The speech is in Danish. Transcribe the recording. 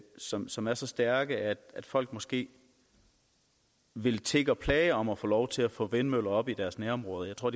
som som er så stærke at folk måske vil tigge og plage om at få lov til at få vindmøller op i deres nærområde jeg tror